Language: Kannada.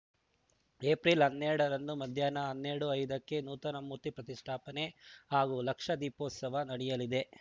ಏಪ್ರಿಲ್ ಹನ್ನೆರಡರಂದು ಮಧ್ಯಾಹ್ನ ಹನ್ನೆರಡು ಐದಕ್ಕೆ ನೂತನ ಮೂರ್ತಿ ಪ್ರತಿಷ್ಠಾಪನೆ ಹಾಗೂ ಲ್ಕಷ ದೀಪೋತ್ಸವ ನಡೆಯಲಿದೆ